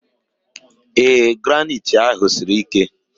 Ee, granaitị ahụ siri ike